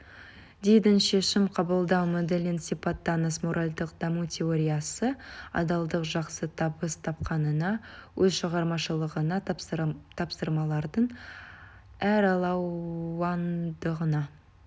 дэйдің шешім қабылдау моделін сипаттаңыз моральдық даму теориясы адалдық жақсы табыс тапқанына өз шығармашылығына тапсырмалардың әралуандығына